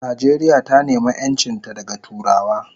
Nijeria ta nema enchinta daga turawa